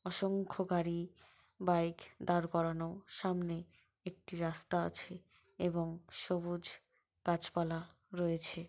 অসংখ্য গাড়ি বাইক দাঁড় করানো সামনে একটি রাস্তা আছে এবং সবুজ গাছপালা রয়েছে ।